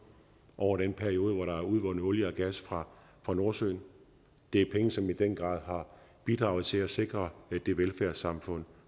over den periode hvor der er udvundet olie og gas fra fra nordsøen det er penge som i den grad har bidraget til at sikre det velfærdssamfund